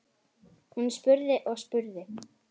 Hún spurði og spurði.